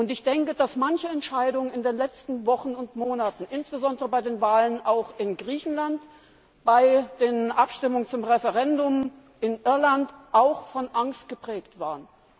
Ich denke, dass manche Entscheidung in den letzten Wochen und Monaten, insbesondere bei den Wahlen in Griechenland und bei den Abstimmungen zum Referendum in Irland, auch von Angst geprägt waren.